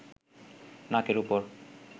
নাকের ওপর